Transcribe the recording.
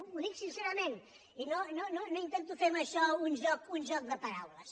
ho dic sincerament i no intento fer amb això un joc de paraules